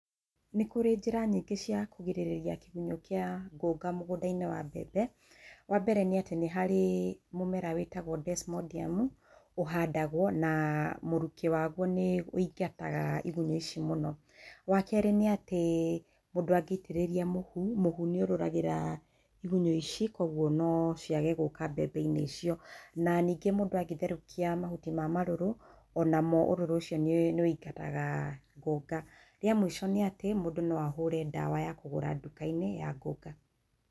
Nĩ kũrĩ njĩra nyingĩ cia kũgirĩrĩria kĩgunyũ gĩa ngũnga mũgũnda -inĩ wa mbembe, wa mbere nĩ atĩ nĩ harĩ mũmera wĩtagwo desmondium ũhandagwo na mũrukĩ waguo nĩ wũingataga igunyo ici mũno wa kerĩ nĩ atĩ mũndũ angĩitĩrĩria mũhu, mũhu nĩ ũrũrũragĩra ĩgunyũ ici na kwoguo no ciage gũka mbembe-inĩ icio na ningĩ mũndũ angĩtherũkia mahuti ma marũrũ onamo ũrũrũ ũcio nĩ wũingataga ngũnga, rĩa mũico nĩ atĩ mũndũ no ahũre ndawa ya kũgũra nduka-inĩ ya ngũnga.